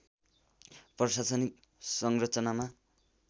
प्रशासनिक संरचनामा